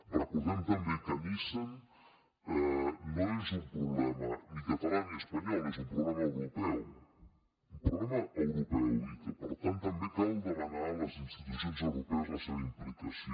recordem també que nissan no és un problema ni català ni espanyol és un problema europeu un problema europeu i que per tant també cal demanar a les institucions europees la seva implicació